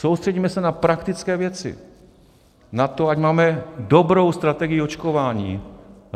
Soustřeďme se na praktické věci, na to, ať máme dobrou strategii očkování.